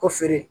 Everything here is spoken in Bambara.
Ko feere